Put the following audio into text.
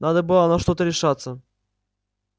надо было на что-то решаться